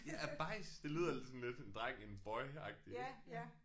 Ja bajsen det lyder sådan lidt en dreng en boy agtig ik ja